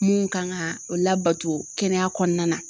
Mun kan ka o labato kɛnɛya kɔnɔna na